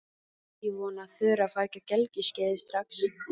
Ég vona að Þura fari ekki á gelgjuskeiðið strax.